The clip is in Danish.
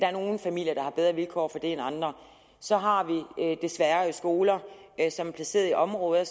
er nogle familier der har bedre vilkår for det end andre så har vi desværre skoler som er placeret i områder